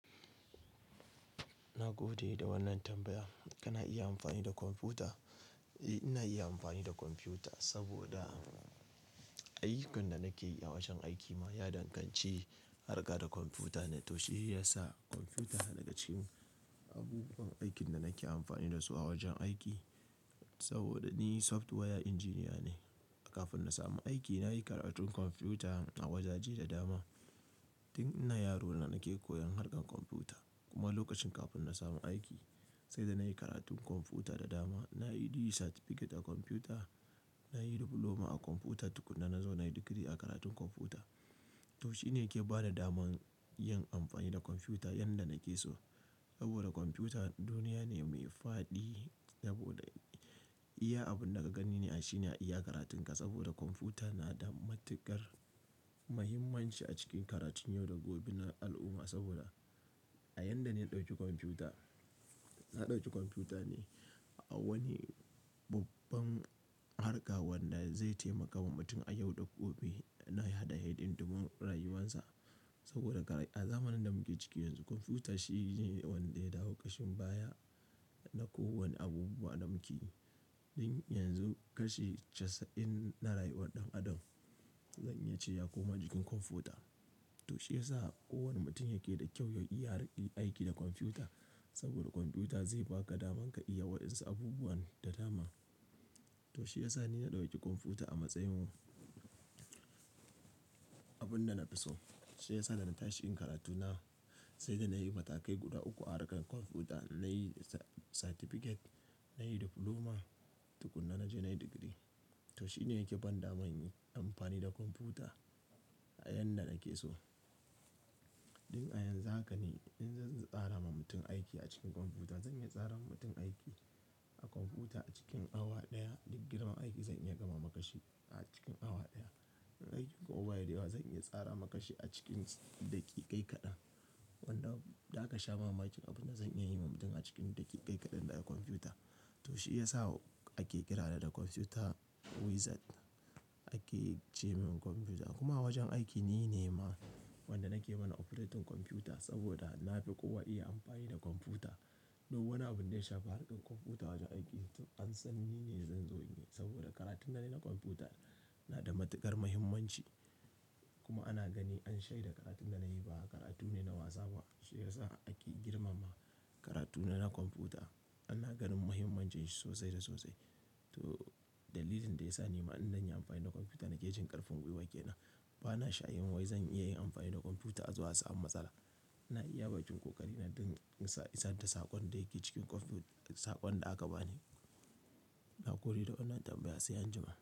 Na gode da wannan tambaya. Kana iya amfani da kwamfuta? Eh, ina iya amfani da kwamfuta saboda ayyukan da nake yi a wajen aikima ya danganci harka da kwamfuta. To shi ya sa kwamfuta yana cikin abubuwan aikin da nake amfani da su a wajen aiki. Saboda ni software engineer ne. Kafin na samu aiki nayi karatun kwamfuta a wajaje da dama. Tun ina yaro na nake koyan harkar kwamfuta kuma lokacin kafin na samu aiki, sai da nayi karatun kwamfuta da dama. Nayi certificate a kwamfuta, nayi diploma a kwamfuta tukuna na zauna yi digiri a karatun kwamfuta. To shi ne yake bani daman yin amfani da kwamfuta yanda nake so. Saboda kwamfuta duniya ne mai fadi saboda iya. Abin da ka gani ne a shi ne iya karatun ka saboda kwamfuta na da matukar muhimmanci a cikin karatun yau da gobe na al'umma saboda a yanda ne ya ɗauki kwamfuta. Na ɗauki kwamfuta ne a wani babban harka wanda zai taimaka wa mutum a yau da gobe na yada haydin duba rayuwarsa. Saboda a zamanin da muke ciki yanzu kwamfuta shine wanda ya dawo kashin baya na ko wane abubuwa na muke. Tun yanzu kashi casa'in na rayuwar ɗan adam zan yi ce ya koma jikin kwamfuta. To shi ya sa kowane mutum yake da kyau yau iya riƙe aiki da kwamfuta saboda kwamfuta zai baka daman ka iya waɗansu abubuwan da dama. To shi ya sa ni na ɗauki kwamfuta a matsayin mu abun da na fi so. Shi ya sa da na tashi yin karatu na sai da nayi matakai guda uku a harkar kwamfuta. Nayi certificate, nayi diploma tukuna na je nayi digiri. To shi ne yake ban dama inyi amfani da kwamfuta a yanda nake so. Tun a yanzu haka ne in zan tsara ma mutum aiki a cikin kwamfuta, zan iya tsara wa mutum aiki a kwamfuta a cikin awa ɗaya. In girma aiki zan iya gama makashi a cikin awa daya. In aikin ko baya da yawa zan iya tsara makashi a cikin daƙiƙai kaɗan. Wanda da haka sha mama cikin abin da zan iya yi wa mutum a cikin daƙiƙai kaɗan daya a kwamfuta. To shi ya sa ake kira da da kwamfuta wizard ake ce min kwamfuta kuma a wajen aiki nine ma wanda nake mana operating kwamfuta saboda na fi kowa iya amfani da kwamfuta. Duk wani abun da ya shafi harkar kwamfuta a wajen aiki an san nine zan zo ne saboda karatuna ne na kwamfuta na da matukar muhimmanci kuma ana gani an shaida karatun da nayi ba karatu ne na wasa ba. Shi ya sa ake girmama karatuna na kwamfuta. Ana ganin muhimmancin shi sosai da sosai. To dalilin da ya sa ni ma'anar yin amfani da kwamfuta nake jin ƙarfin ƙwi waken nan. Bana shayin wai zan iya yin amfani da kwamfuta zuwa sa'an matsala. INa iya bakin ƙoƙari na don isa, isar da saƙon da yake cikin kwamfu-- saƙon da aka bani. Na gode da wannan tambaya sai an jima.